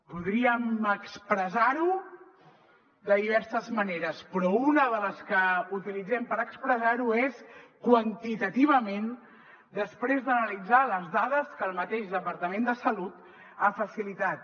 podríem expressar ho de diverses maneres però una de les que utilitzem per expressar ho és quantitativament després d’analitzar les dades que el mateix departament de salut ha facilitat